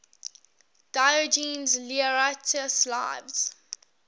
diogenes laertius's lives